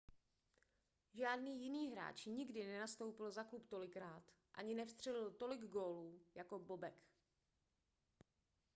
žádný jiný hráč nikdy nenastoupil za klub tolikrát ani nevstřelil tolik gólů jako bobek